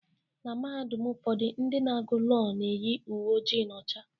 Na Mahadum ụfọdụ ndị na-agu Lọọ na-eyi uwe ojii na ọcha.